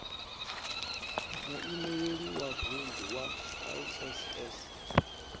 muimeleli wa vunḓu wa iss